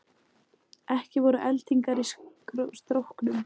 Ekki voru eldingar í stróknum